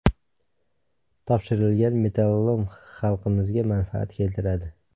Topshirilgan metallolom xalqimizga manfaat keltiradi!